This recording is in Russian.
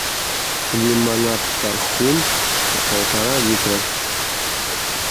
лимонад тархун полтора литра